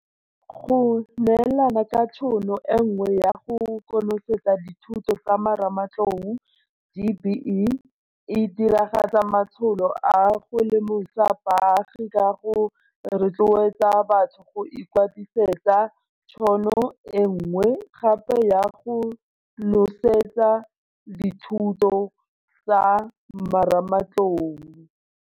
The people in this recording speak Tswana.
Go neelana ka tšhono e nngwe ya go konosetsa dithuto tsa marematlou DBE e diragatsa matsholo a go lemosa baagi ka go rotloetsa batho go ikwadisetsa tšhono e nngwe gape ya go konosetsa dithuto tsa marematlou.